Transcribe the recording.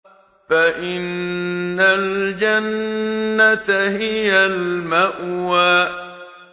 فَإِنَّ الْجَنَّةَ هِيَ الْمَأْوَىٰ